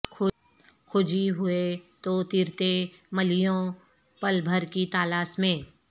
کھوجی ہوئے تو ترتے ملیہوں پل بھر کی تالاس میں